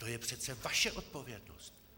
To je přece vaše odpovědnost.